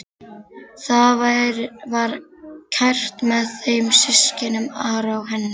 Það var kært með þeim systkinunum, Ara og henni.